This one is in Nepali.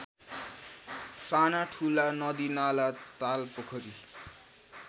सानाठुला नदीनाला तालपोखरी